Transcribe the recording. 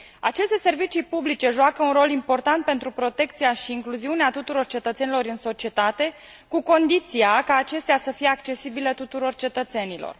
Aceste servicii publice joacă un rol important pentru protecția și incluziunea tuturor cetățenilor în societate, cu condiția ca acestea să fie accesibile tuturor cetățenilor.